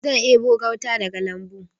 Zan ɗebo gauta daga lambu.